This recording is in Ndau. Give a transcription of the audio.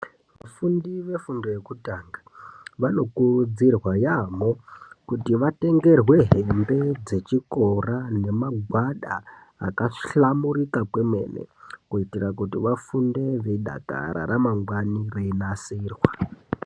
Vafundi vefundo yekutanga, vanokurudzirwa yaampho kuti vatengerwe hembe dzechikora nemagwada akahlamburuka kwemene. Kuitira kuti vafunde veidakara, ramangwani reinasirwa.